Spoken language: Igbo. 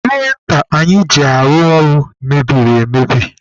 Prịnta anyị ji arụ ọrụ mebiri emebi.